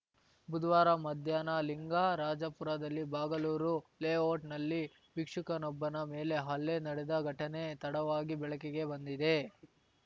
ಬುಧವಾರ ಮಧ್ಯಾಹ್ನ ಲಿಂಗರಾಜಪುರದಲ್ಲಿ ಬಾಗಲೂರು ಲೇಔಟ್‌ನಲ್ಲಿ ಭಿಕ್ಷುಕನೊಬ್ಬನ ಮೇಲೆ ಹಲ್ಲೆ ನಡೆದ ಘಟನೆ ತಡವಾಗಿ ಬೆಳಕಿಗೆ ಬಂದಿದೆ